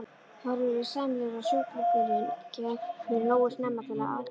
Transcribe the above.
Horfur eru sæmilegar ef sjúklingurinn kemur nógu snemma til aðgerðar.